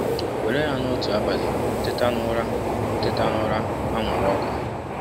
Were ya na otu abalị ị teta n’ụra ị teta n’ụra anwụrụ ọkụ.